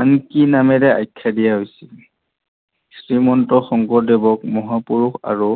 আন কি নামেৰে আখ্যা দিয়া হৈছিল? শ্ৰীমন্ত শংকৰদেৱক মহাপূৰুষ আৰু